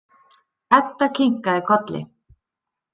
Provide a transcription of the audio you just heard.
Edda kinkaði kolli.